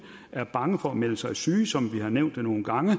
er bange for at melde sig syge som vi har nævnt nogle gange